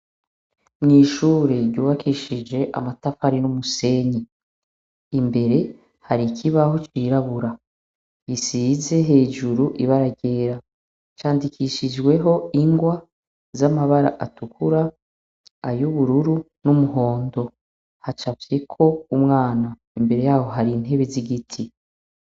Mw' ishure ryubakishijwe amatafari n' umusenyi. Imbere, hari ikibaho cirabura gisize hejuru ibara ryera. Candikishijweho ingwa z' amabara atukura, ay' ubururu n' umuhondo. Hacafyeko umwana, imbere yaho hari intebe z' igiti .